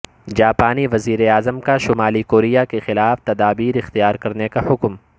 جاپانی وزیر اعظم کا شمالی کوریا کے خلاف تدابیر اختیار کرنے کا حکم